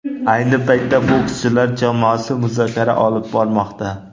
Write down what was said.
Ayni paytda bokschilar jamoasi muzokara olib bormoqda.